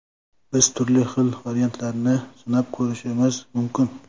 Biz turli xil variantlarni sinab ko‘rishimiz mumkin.